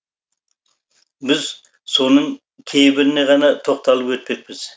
біз соның кейбіріне ғана тоқталып өтпекпіз